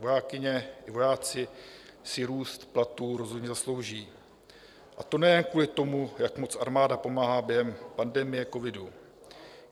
Vojákyně i vojáci si růst platů rozhodně zaslouží, a to nejen kvůli tomu, jak moc armáda pomáhá během pandemie covidu.